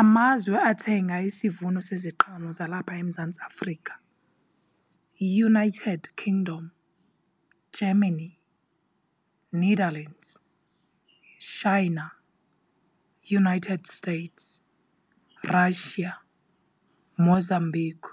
Amazwe athenga isivuno seziqhamo zalapha eMzantsi Afrika yiUnited Kingdom, Germany, Netherlands, China, United States, Russia, Mozambique